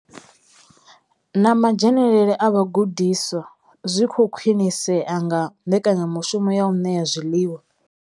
Na madzhenele a vhagudiswa zwi khou khwinisea nga mbekanyamushumo ya u ṋea zwiḽiwa.